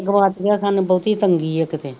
ਗਵਾਤੀਆਂ ਸਨ ਬੋਹਤੀ ਤੰਗੀ ਆ ਕਿਤੇ